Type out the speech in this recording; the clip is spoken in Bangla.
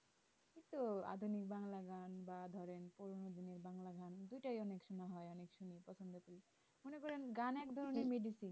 এই তো আধুনিক বাংলা গান বা ধরো পুরোনো দিনের বাংলা গান দুটোই আমার সোনা হয় আমি শুনি প্রথম থেকে মনে করেন গান একধরনের medicine